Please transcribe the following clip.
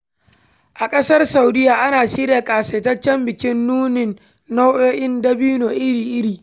A ƙasar Saudiyya ana shirya ƙasaitaccen bikin nunin nau'o'in dabino iri-iri.